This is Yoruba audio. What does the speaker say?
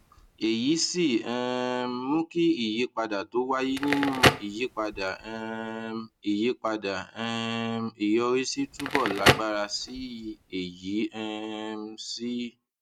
èyí sì um mú kí ìyípadà tó wáyé nínú ìyípadà um ìyípadà um ìyọrísí túbò lágbára sí i èyí um sì